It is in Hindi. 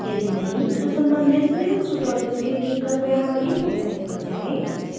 यदि नहीं तो सम्बंधित लिनक्स tutorials के लिए कृपया हमारी website पर जाएँ